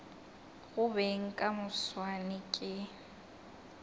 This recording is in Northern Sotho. go beng ka moswane ke